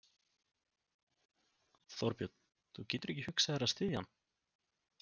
Þorbjörn: Þú getur ekki hugsað þér að styðja hann?